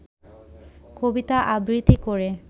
কবিতা আবৃত্তি করে